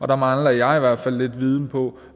der mangler jeg i hvert fald lidt viden om